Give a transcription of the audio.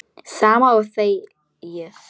Sama og þegið!